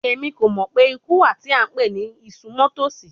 Emi ko mọ pe iku wa ti a npe ni isunmọtosi